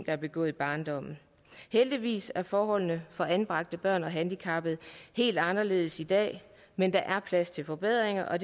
er begået i barndommen heldigvis er forholdene for anbragte børn og handicappede helt anderledes i dag men der er plads til forbedringer og